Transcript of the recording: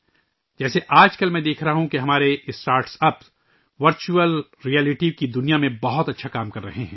جیسے آج کل ، میں دیکھ رہا ہوں کہ ہمارے اسٹارٹ اپ ورچوئل رئیلٹی کی دنیا میں بہت اچھا کام کر رہے ہیں